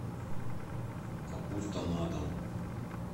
капуста на дом